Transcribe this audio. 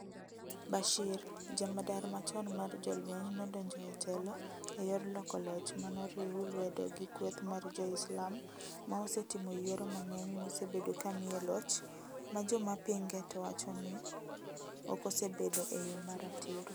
Bashir, jamadar machon mar jolweny nodonjo etelo eyor loko loch manoriuw lwedo gi kweth mar jo-Islam ma osetimo yiero mang'eny mosebedo kamiye loch majomapinge to wachoni okosebedo eyo maratiro.